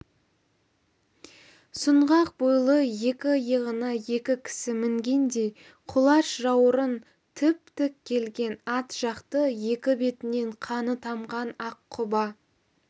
сұңғақ бойлы екі иығына екі кісі мінгендей құлаш жаурын тіп-тік келген ат жақты екі бетінен қаны тамған аққұба